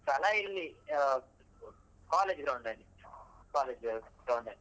ಸ್ಥಳ ಇಲ್ಲಿ ಅ college ground ಅಲ್ಲಿ college ground ಅಲ್ಲಿ.